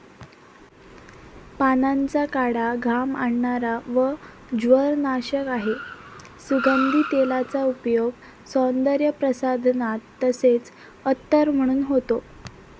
पानांचा काढा घाम आणणारा व ज्वरनाशक आहे. सुगंधी तेलाचा उपयोग सौंदर्यप्रसाधनात, तसेच अत्तर म्हणून होतो.